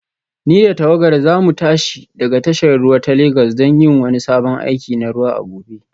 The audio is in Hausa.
Ni da tawagara za mu tashi daga tashar ruwa ta Legas don yin wani sabon aiki na ruwa a gobe